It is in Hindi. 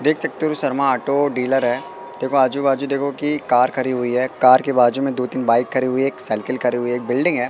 देख सकते हो शर्मा ऑटो डीलर है देखो आजू बाजू देखो की कार खड़ी हुई है कार के बाजू में दो तीन बाइक खड़ी हुई एक साइकिल खड़ी हुई एक बिल्डिंग है।